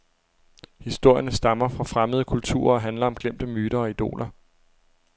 Historierne stammer fra fremmede kulturer og handler om glemte myter og idoler.